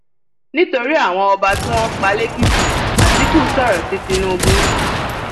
nítorí àwọn ọba tí wọn pa lèkìtì àtìkú sọrọ sí tìǹbù